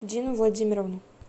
дину владимировну